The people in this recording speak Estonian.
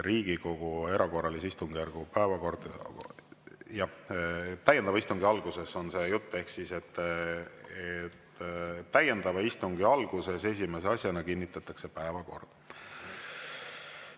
" Jah, täiendava istungi algusest on jutt ehk täiendava istungi alguses esimese asjana kinnitatakse päevakord.